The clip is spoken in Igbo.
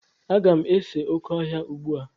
Aga m ese oké ọhịa ugbu a.